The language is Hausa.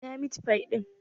Ina mit fif ɗin?